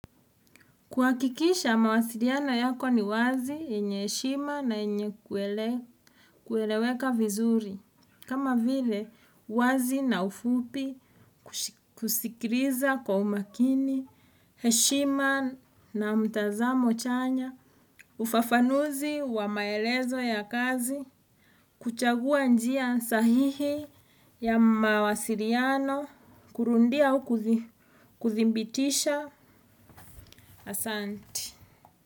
Kuakikisha mawasiriano yako ni wazi yenye heshima na yenye kueleweka vizuri. Kama vile, wazi na ufupi kusikiriza kwa umakini, heshima na mtazamo chanya, ufafanuzi wa maelezo ya kazi, kuchagua njia sahihi ya mawasiriano, kurundia au kuthimbitisha asanti. Nti.